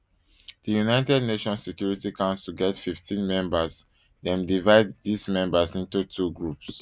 di united nations security council get fifteen members dem divide dis members into two groups